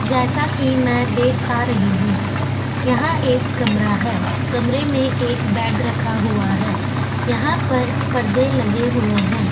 जैसा कि मैं देख पा रही हूं यहां एक कमरा है कमरे में एक बेड रखा हुआ है यहां पर पर्दे लगे हुए हैं।